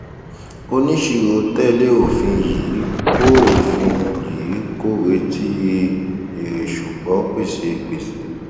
oníṣirò tẹlé òfin yìí kò òfin yìí kò retí èrè ṣùgbọn pèsè gbèsè